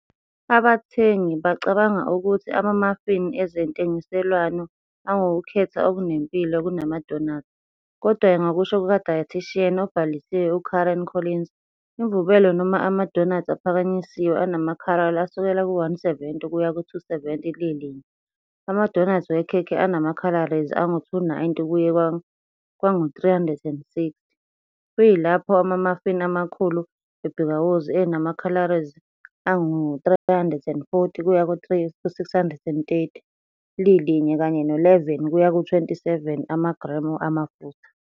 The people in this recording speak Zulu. " Abathengi bacabanga ukuthi ama-muffin ezentengiselwano angukukhetha okunempilo kunamadonathi, kodwa-ke, ngokusho kukaDietician obhalisiwe uKaren Collins, imvubelo noma ama-donuts aphakanyisiwe anama-khalori asukela ku-170 kuya ku-270 lilinye, ama-donuts wekhekhe anama-calories angama-290 kuye kwangama-360, kuyilapho ama-muffin amakhulu ebhikawozi enama-calories angama-340 kuya ku-630 lilinye kanye no-11 kuya ku-27 amagremu amafutha.